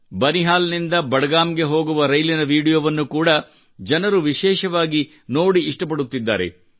ಬನಿಹಾಲ್ ನಿಂದ ಬಡಗಾಮ್ ಗೆ ಹೋಗುವ ರೈಲಿನ ವಿಡಿಯೋವನ್ನು ಕೂಡಾ ಜನರು ವಿಶೇಷವಾಗಿ ನೋಡಿ ಇಷ್ಟಪಡುತ್ತಿದ್ದಾರೆ